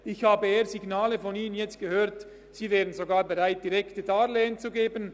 Ich habe von Ihnen nun eher Signale gehört, dass Sie sogar bereit wären, direkte Darlehen zu geben.